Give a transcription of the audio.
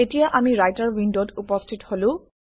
এতিয়া আমি ৰাইটাৰ উইণ্ডত উপস্থিত হলো